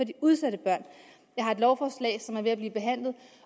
de udsatte børn jeg har et lovforslag som er ved at blive behandlet